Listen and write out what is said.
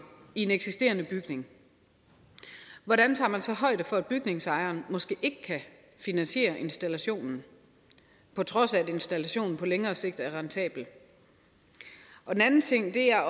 i en eksisterende bygning hvordan tager man så højde for at bygningsejeren måske ikke kan finansiere installationen på trods af at installationen på længere sigt er rentabel en anden ting er